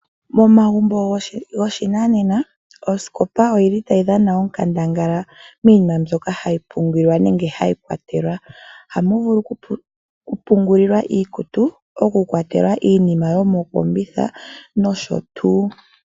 Momagumbo gopashinanena osikopa oyili tayi dhana onkandangala miinima mbyoka hayi pungulwa nenge hayi kwatelwa, ohamu vulu okupungulilwa iikutu, okukwatelwa iinima yomokombitha nosho tuu.